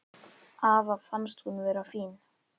Afa fannst hún vera fín.